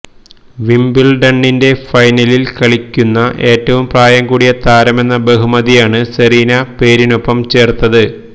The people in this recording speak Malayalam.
വിംബിള്ഡണിന്റെ ഫൈനലില് കളിക്കുന്ന ഏറ്റവും പ്രായംകൂടിയ താരമെന്നബഹുമതിയാണ് സെറീന പേരിനൊപ്പം ചേര്ത്തത്